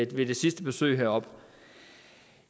det sidste besøg heroppe